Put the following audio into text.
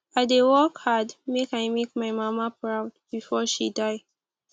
i dey work hard make i make my mama proud before she die